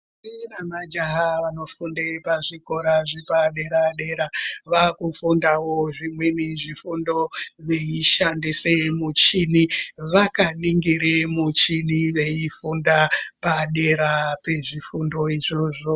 Ndombi nemajaha vanofunde pazvikora zvepadera-dera, vaakufundawo zvimweni zvifundo, veishandise muchini, vakaningire muchini veifunda, padera pezvifundo izvozvo.